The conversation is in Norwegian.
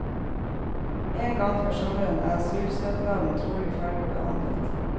En gang før sommeren er asylsøknaden trolig ferdig behandlet.